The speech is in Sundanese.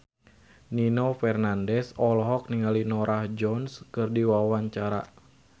Nino Fernandez olohok ningali Norah Jones keur diwawancara